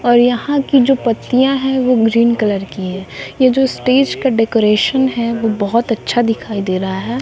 और यहां की जो पत्तियां है वो ग्रीन कलर की है ये जो स्टेज का डेकोरेशन है वो बहोत अच्छा दिखाई दे रहा है।